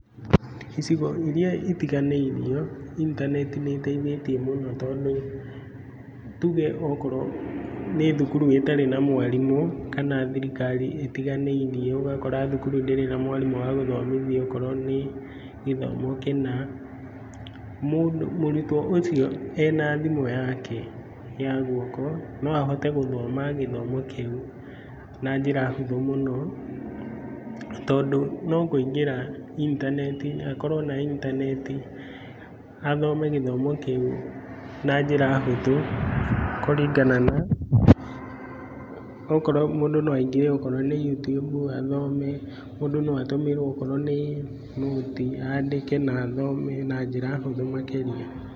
Icigo iria itiganĩirio intaneti nĩ ĩteithĩtie mũno tondũ, tuge okorwo nĩ thukuru ĩtarĩ na mwarimũ kana thirikari itiganĩirie ũgakora thukuru ndĩrĩ na mwarimũ wa gũthomithia, korwo nĩ gĩthomo kĩna. Mũrutwo ũcio ena thimũ yake ya guoko no ahote gũthoma gĩthomo kĩu na njĩra hũthũ mũno, tondũ no kũingĩra intaneti-inĩ, akorwo na intaneti athome gĩthomo kĩu na njĩra hũthũ kũringana na, mũndũ no aingĩre akorwo nĩ Youtube no athome, mũndũ no atũmĩrwo okorwo nĩ nũti andĩke na athome na njĩra hũthũ makĩria.